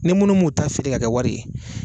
Ni minnu mun ta feere ka kɛ wari ye.